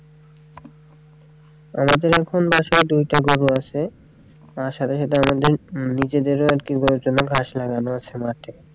আমাদের এখন বাসায় দুইটা গরু আছে আর সাথে সাথে আমাদের নিজেদেরও আরকি গরুর জন্য ঘাস লাগানো আছে মাঠে।